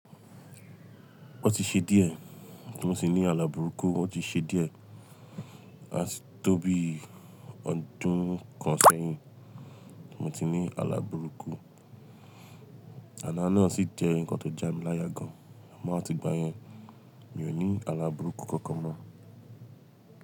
Ó ti ṣe díẹ̀ tí mo ti ní alà bùrúkú, ó ti ṣe díẹ̀ á ti tó bí ọdún kan sẹ́yìn tí mo ti ní alà bùrúkú. Àlá náà sì jẹ́ nǹkan tó ja mí láya gan an, amọ á ti gbà yẹn, mi ò ní alàbùrúkú kankan mọ́.